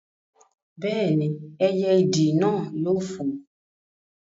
Bẹ́ẹ̀ni, ẹyẹ ìdì náà yóò fò